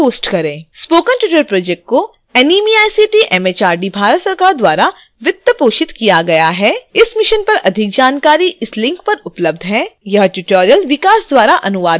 spoken tutorial project को NMEICT MHRD Bharat सरकार द्वारा वित्त पोषित किया गया है इस mission पर अधिक जानकारी इस link पर उपलब्ध है